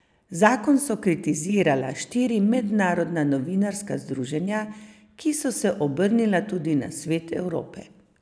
Zakon so kritizirala štiri mednarodna novinarska združenja, ki so se obrnila tudi na Svet Evrope.